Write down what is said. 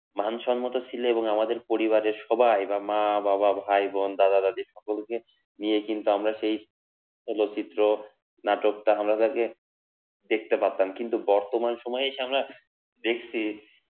মান সম্মত ছিল এবং আমাদের পরিবারের সবাই, বা মা বাবা ভাই বোন দাদা দাদি সকলকে নিয়ে কিন্তু আমরা সেই চলচ্চিত্র নাটকটা আমরা যাকে দেখতে পারতাম কিন্তু বর্তমান সময়ে এসে আমরা দেখছি